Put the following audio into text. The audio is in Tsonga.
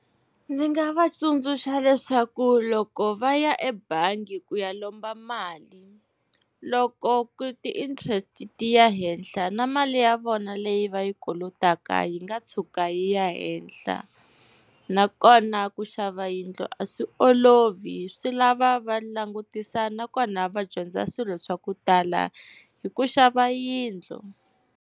Ndzi nga va tsundzuxa leswaku loko va ya ebangi ku ya lomba mali, loko ti-interest ti ya henhla na mali ya vona leyi va yi kolotaka yi nga tshuka yi ya henhla. Nakona ku xava yindlu a swi olovi swi lava va langutisa, nakona va dyondza swilo swa ku tala hi ku xava yindlu.